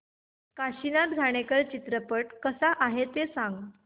काशीनाथ घाणेकर चित्रपट कसा आहे ते सांग